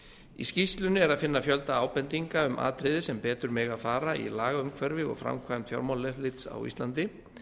í skýrslunni er að finna fjölda ábendinga um atriði sem betur mega fara í lagaumhverfi og framkvæmd fjármálaeftirlits á íslandi